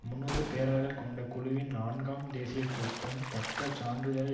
முன்னூறு பேராளர்கள் கொண்ட குழுவின் நான்காம் தேசிய கூட்டம் தக்க சான்றுகள்